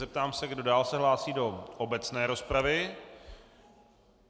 Zeptám se, kdo dál se hlásí do obecné rozpravy.